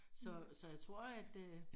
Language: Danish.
Så så jeg tror at øh